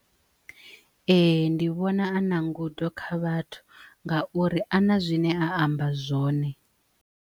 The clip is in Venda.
Ee ndi vhona a na ngudo kha vhathu ngauri ana zwine a amba zwone.